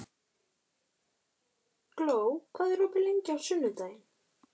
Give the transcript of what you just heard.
Gló, hvað er opið lengi á sunnudaginn?